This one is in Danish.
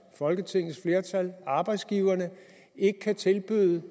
folketingets flertal og arbejdsgiverne ikke kan tilbyde